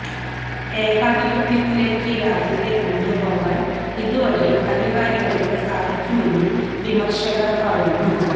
ഏകാധിപത്യത്തിലേക്ക് രാജ്യത്തെ കൊണ്ടുപോകാൻ ഇതുവഴി അധികാരികൾക്ക് സാധിക്കുമെന്നും വിമർശകർ പറയുന്നു